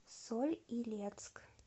соль илецк